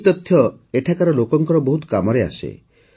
ଏହି ତଥ୍ୟ ଏଠାକାର ଲୋକଙ୍କର ବହୁତ କାମରେ ଆସେ